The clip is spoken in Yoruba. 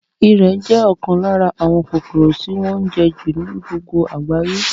Ìrẹ̀ jẹ́ ọ̀kan lára àwọn kòkòrò tí wọ́n ń jẹ́ jù ní gbogbo àgbáyé